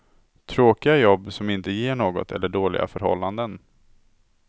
Tråkiga jobb som inte ger något eller dåliga förhållanden.